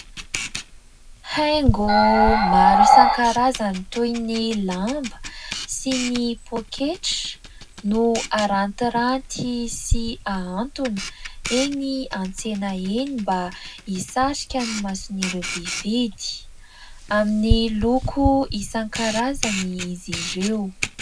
Haingo maro isan-karazany toy ny lamba sy poketra no harantiranty sy hahantona eny an-tsena eny mba hisarika ny maso ny mpividy, amin'ny loko isan-karazany izy ireo.